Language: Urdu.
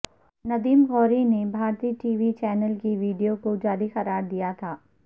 ندیم غوری نے بھارتی ٹی وی چینل کی ویڈیو کو جعلی قرار دیا تھا